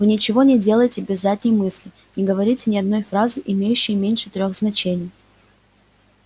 вы ничего не делаете без задней мысли не говорите ни одной фразы имеющей меньше трёх значений